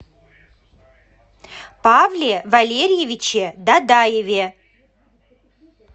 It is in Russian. павле валерьевиче дадаеве